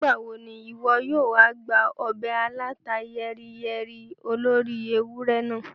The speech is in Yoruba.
Nígbàwo ni ìwọ yóò wa gba ọbẹ̀ alàta yẹ́ríyẹ́rí olóri ewurẹ naa?